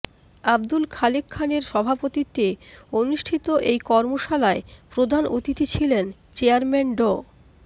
আব্দুল খালেক খানের সভাপতিত্বে অনুষ্ঠিত এই কর্মশালায় প্রধান অতিথি ছিলেন চেয়ারম্যান ড